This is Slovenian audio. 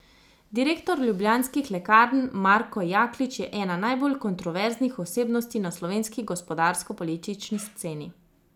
Direktor ljubljanskih lekarn Marko Jaklič je ena najbolj kontroverznih osebnosti na slovenski gospodarsko politični sceni.